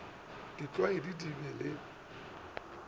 di tliswa di be le